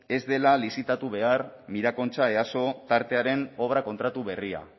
ez dela lizitatu behar mirakontxa easo tartearen obra kontratu berria